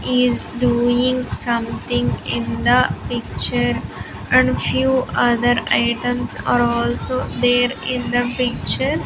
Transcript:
Is doing something in the picture and few other items are also there in the picture.